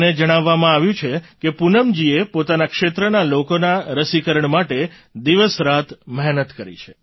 મને જણાવવામાં આવ્યું છે કે પૂનમજીએ પોતાના ક્ષેત્રના લોકોના રસીકરણ માટે દિવસરાત મહેનત કરી છે